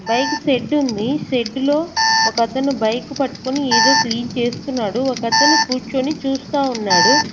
Bike షెడ్డుంది షెడ్డులో ఒకతను బైక్ పట్కొని ఏదో క్లీన్ చేస్తున్నాడు ఒకతను కూర్చొని చూస్తా ఉన్నాడు.